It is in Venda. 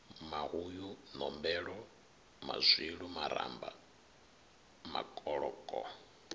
mahuyu nombelo mazwilu maramba makoloko